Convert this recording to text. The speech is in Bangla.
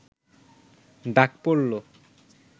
ডাক পড়ল